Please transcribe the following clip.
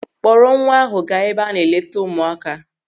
Kpọrọ nwa ahụ gaa ebe a na-eleta ụmụaka.